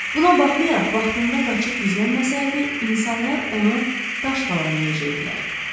Buna baxmayaraq vaxtında qaçıb gizlənməsəydi, insanlar onu daşqalaq eləyəcəkdilər.